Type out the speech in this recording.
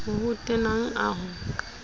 o ho tenang a ho